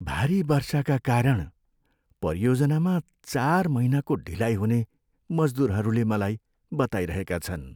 भारी वर्षाका कारण परियोजनामा चार महिनाको ढिलाइ हुने मजदुरहरूले मलाई बताइरहेका छन्।